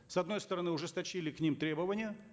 с одной стороны ужесточили к ним требования